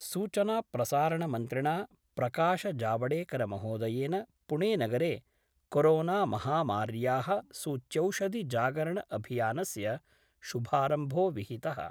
सूचनाप्रसारणमन्त्रिणा प्रकाशजावडेकरमहोदयेन पुणेनगरे कोरोनामहामार्या: सूच्यौषधि जागरण अभियानस्य शुभारम्भो विहितः।